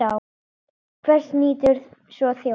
Hvers nýtur svo þjóðin?